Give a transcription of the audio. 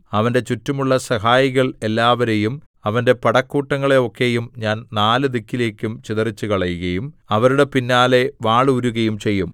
അവന്റെ ചുറ്റുമുള്ള സഹായികൾ എല്ലാവരെയും അവന്റെ പടക്കൂട്ടങ്ങളെ ഒക്കെയും ഞാൻ നാല് ദിക്കിലേക്കും ചിതറിച്ചുകളയുകയും അവരുടെ പിന്നാലെ വാളൂരുകയും ചെയ്യും